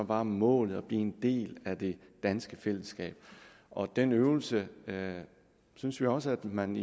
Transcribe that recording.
var målet at blive en del af det danske fællesskab og den øvelse synes vi også at man